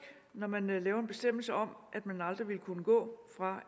når man laver en bestemmelse om at man aldrig vil kunne gå fra